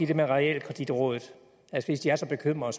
der med realkreditrådet at hvis de er så bekymrede